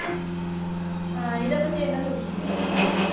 இதைப்பத்தி என்ன சொல்றீங்க ருஷிதா